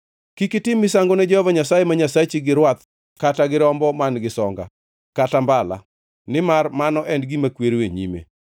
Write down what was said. Kik itim misango ne Jehova Nyasaye ma Nyasachi gi rwath kata gi rombo man-gi songa kata mbala, nimar mano en gima kwero e nyime.